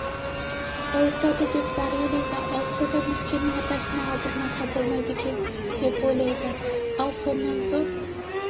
ауыртады деп зар илейді ауыртса да нүскеннің атасына алдырмаса болмайды екен деп ойлады ол сонан соң